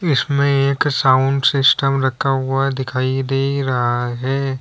इसमें एक sound system रखा हुआ दिखाई दे रहा है।